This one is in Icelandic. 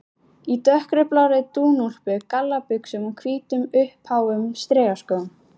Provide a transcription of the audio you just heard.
Í dökkblárri dúnúlpu, gallabuxum og hvítum, uppháum strigaskóm.